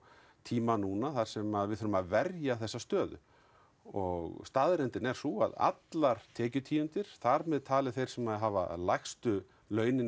tíma núna þar sem við þurfum að verja þessa stöðu og staðreyndin er sú að allar tekjutíundir þar með talið þær sem hafa lægstu launin